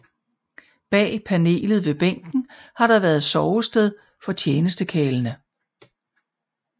Bag panelet ved bænken har der været sovested for tjenestekarlene